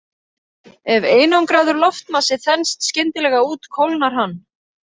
Ef einangraður loftmassi þenst skyndilega út kólnar hann.